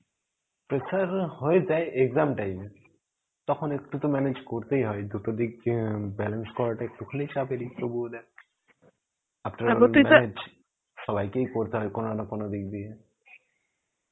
pressure হয়ে যায় exam time এ. তখন একটু তো manage করতেই হয় এই দুটো দিক যে balance করাটা একটুখানি চাপেরই তবুও দেখ সবাইকেই করতে হয় কোনো না কোনো দিক দিয়ে.